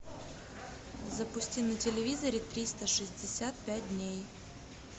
запусти на телевизоре триста шестьдесят пять дней